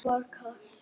Honum var kalt.